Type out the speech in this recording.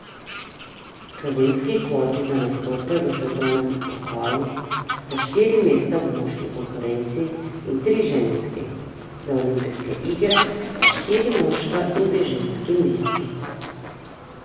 Slovenski kvoti za nastope v svetovnem pokalu sta štiri mesta v moški konkurenci in tri v ženski, za olimpijske igre pa štiri moška in dve ženski mesti.